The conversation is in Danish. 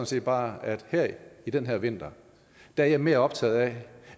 set bare at i den her vinter er jeg mere optaget af